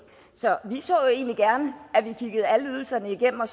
så vi så egentlig gerne at vi kiggede alle ydelserne igennem og